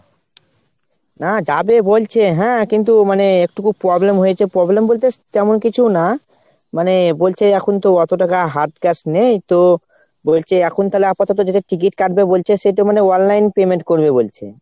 না যাবে বলছে হ্যাঁ কিন্তু মানে একটু খুব problem হয়েছে, problem বলতে তেমন কিছু না। মানে বলছে এখন তো অতো টাকা hard cash নেই তো, বলছে এখন তালে আপাতত যেটা ticket কাটবে বলছে সেটো মানে online payment করবে বলছে।